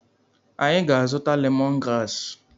Anyị ga-azụta lemon graasị.